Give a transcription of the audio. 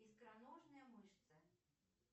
икроножная мышца